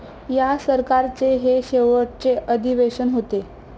या सरकारचे हे शेवटचे अधिवेशन होते.